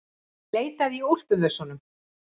Ég leitaði í úlpuvösunum.